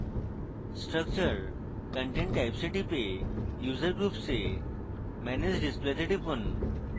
structure content types এ টিপে user groups এ manage display তে টিপুন